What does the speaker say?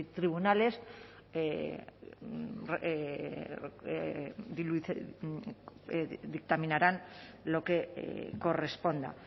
tribunales dictaminarán lo que corresponda